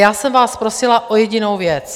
Já jsem vás prosila o jedinou věc.